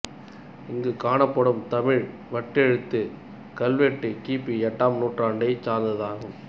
இங்கு காணப்படும் தமிழ் வட்டெழுத்து கல்வெட்டு கி பி எட்டாம் நூற்றாண்டைச் சார்ந்தது ஆகும்